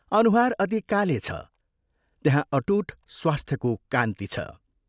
अनुहार अति काले छ त्यहाँ अटूट स्वास्थ्यको कान्ति छ।